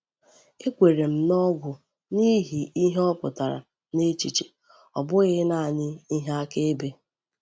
E kwèrè m n’ogwù n’ihi ihe ọ pụtara n’echiche, ọ bụghị naanị ihe akaebe.